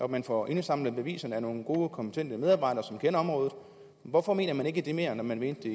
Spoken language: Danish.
man får indsamlet beviserne af nogle gode kompetente medarbejdere som kender området hvorfor mener man ikke det mere når man mente